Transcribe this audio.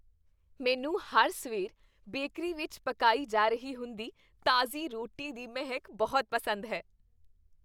ਮੈਨੂੰ ਹਰ ਸਵੇਰ ਬੇਕਰੀ ਵਿੱਚ ਪਕਾਈ ਜਾ ਰਹੀ ਹੁੰਦੀ ਤਾਜ਼ੀ ਰੋਟੀ ਦੀ ਮਹਿਕ ਬਹੁਤ ਪਸੰਦ ਹੈ।